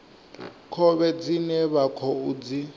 khovhe dzine vha khou dzi